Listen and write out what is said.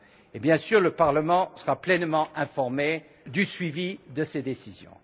Et bien sûr le Parlement sera pleinement informé du suivi de ces décisions.